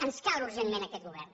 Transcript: ens cal urgentment aquest govern